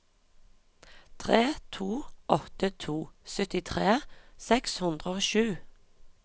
tre to åtte to syttitre seks hundre og sju